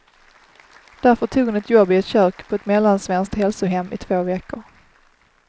Därför tog hon ett jobb i ett kök på ett mellansvenskt hälsohem i två veckor.